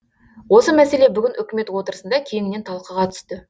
осы мәселе бүгін үкімет отырысында кеңінен талқыға түсті